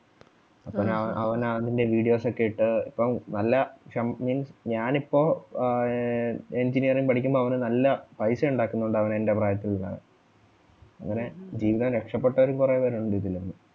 അപ്പം ഞാൻ അവൻ അതിന്റെ videos ഒക്കെ ഇട്ട് ഇപ്പം നല്ല ശം means ഞാൻ ഇപ്പം ആഹ് engineering പഠിക്കുമ്പോ അവന് നല്ല പൈസ ഉണ്ടാക്കുന്നുണ്ട് അവൻ എൻ്റെ പ്രായത്തിൽ തന്നെ. അങ്ങനെ ജീവിതം രക്ഷപ്പെട്ടവരും കുറേ പേരൊണ്ട് ഇതില്ന്ന്